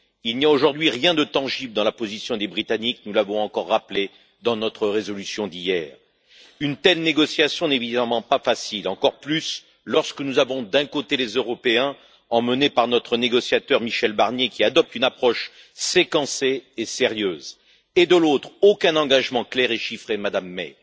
Il n'y a aujourd'hui rien de tangible dans la position des Britanniques, nous l'avons encore rappelé dans notre résolution d'hier. Une telle négociation n'est évidemment pas facile, d'autant plus que nous avons d'un côté les Européens, emmenés par notre négociateur, Michel Barnier, qui adopte une approche séquencée et sérieuse, et de l'autre, aucun engagement clair et chiffré de Mme May.